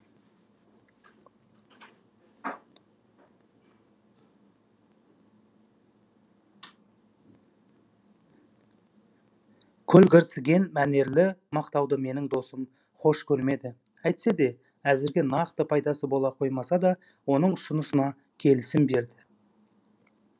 көлгірсіген мәнерлі мақтауды менің досым хош көрмеді әйтсе де әзірге нақты пайдасы бола қоймаса да оның ұсынысына келісім берді